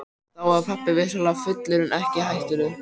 Þá var pabbi vissulega fullur en ekki hættulegur.